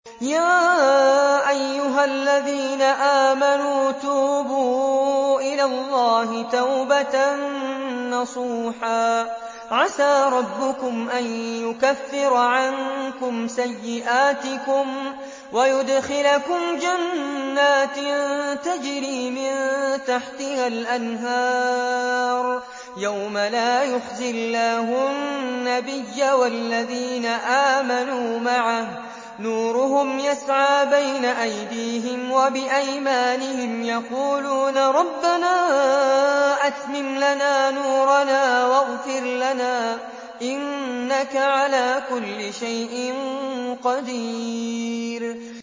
يَا أَيُّهَا الَّذِينَ آمَنُوا تُوبُوا إِلَى اللَّهِ تَوْبَةً نَّصُوحًا عَسَىٰ رَبُّكُمْ أَن يُكَفِّرَ عَنكُمْ سَيِّئَاتِكُمْ وَيُدْخِلَكُمْ جَنَّاتٍ تَجْرِي مِن تَحْتِهَا الْأَنْهَارُ يَوْمَ لَا يُخْزِي اللَّهُ النَّبِيَّ وَالَّذِينَ آمَنُوا مَعَهُ ۖ نُورُهُمْ يَسْعَىٰ بَيْنَ أَيْدِيهِمْ وَبِأَيْمَانِهِمْ يَقُولُونَ رَبَّنَا أَتْمِمْ لَنَا نُورَنَا وَاغْفِرْ لَنَا ۖ إِنَّكَ عَلَىٰ كُلِّ شَيْءٍ قَدِيرٌ